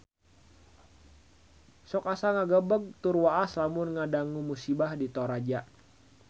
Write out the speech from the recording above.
Sok asa ngagebeg tur waas lamun ngadangu musibah di Toraja